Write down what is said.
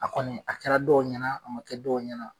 A kɔni a kɛla dɔw ɲɛna a ma kɛ dɔw ɲɛna.